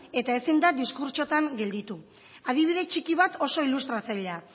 eta ezin da diskurtsoetan gelditu adibide txiki bat oso ilustratzailea